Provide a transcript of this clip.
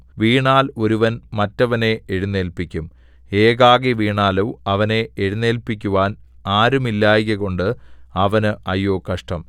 വീണാൽ ഒരുവൻ മറ്റവനെ എഴുന്നേല്പിക്കും ഏകാകി വീണാലോ അവനെ എഴുന്നേല്പിക്കുവാൻ ആരുമില്ലായ്കകൊണ്ട് അവന് അയ്യോ കഷ്ടം